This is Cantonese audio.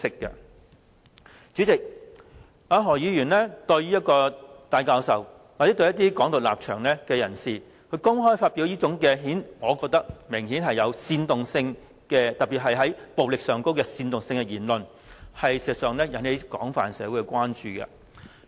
代理主席，何議員公開對戴教授或持"港獨"立場的人士發表這種我認為明顯具煽動性，特別是煽動暴力的言論，事實上會引起社會廣泛的關注。